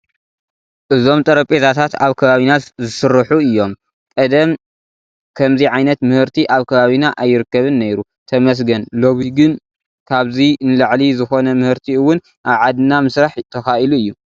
እዞም ጠረጴዛታት ኣብ ከባቢና ዝስርሑ እዮም፡፡ ቀደም ከምዚ ዓይነት ምህርቲ ኣብ ከባቢና ኣይርከብን ነይሩ፡፡ ተመስገን፡፡ ሎሚ ግን ካብዚ ንላዕሊ ዝኾነ ምህርቲ እውን ኣብ ዓድና ምስራሕ ተኻኢሉ እዩ፡፡